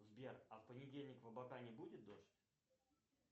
сбер а в понедельник в абакане будет дождь